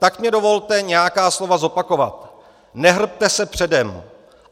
Tak mi dovolte nějaká slova zopakovat: "Nehrbte se předem.